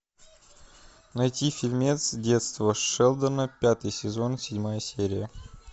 найти фильмец детство шелдона пятый сезон седьмая серия